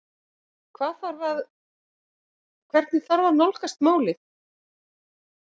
Hvað þarf að, hvernig þarf að nálgast málið?